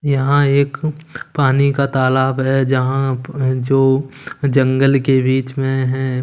यहां एक पानी का तालाब है जहां आप जो जंगल के रीच मे है।